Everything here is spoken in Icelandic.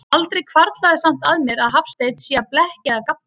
Aldrei hvarflar samt að mér, að Hafsteinn sé að blekkja eða gabba.